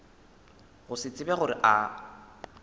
go se tsebe gore a